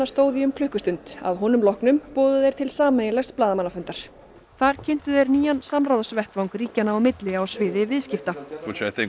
stóð í um klukkustund að honum loknum boðuðu þeir til blaðamannafundar þar kynntu þeir nýjan samráðsvettvang ríkjanna á milli á sviði viðskipta þeir